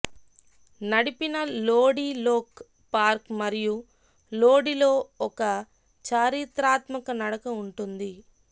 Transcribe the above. నడిపిన లోడి లోక్ పార్క్ మరియు లోడిలో ఒక చారిత్రాత్మక నడక ఉంటుంది